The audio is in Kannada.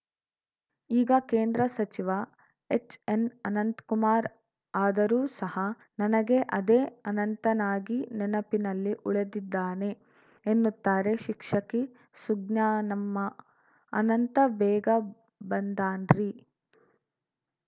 ಈಗ ಕೇಂದ್ರ ಸಚಿವ ಎಚ್‌ಎನ್‌ಅನಂತ್ ಕುಮಾರ್‌ ಆದರೂ ಸಹ ನನಗೆ ಅದೇ ಅನಂತನಾಗಿ ನೆನಪಿನಲ್ಲಿ ಉಳಿದಿದ್ದಾನೆ ಎನ್ನುತ್ತಾರೆ ಶಿಕ್ಷಕಿ ಸುಜ್ಞಾನಮ್ಮ ಅನಂತ ಬೇಗ ಬಂದಾನ್ರಿ